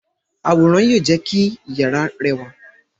Àwòrán yóò jé kí iyàrá rẹ rẹwà.